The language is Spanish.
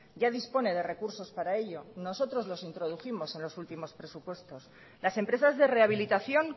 ya dispone de recursos para ello nosotros los introdujimos en los últimos presupuestos las empresas de rehabilitación